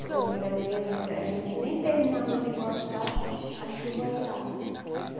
Porque muitas vezes a gente nem terminava de cortar, a chuva arriava.